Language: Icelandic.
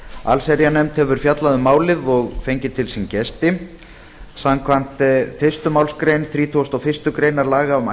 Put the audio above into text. allsherjarnefnd hefur fjallað um málið og fengið til sín gesti samkvæmt fyrstu málsgrein þrítugustu og fyrstu grein laga um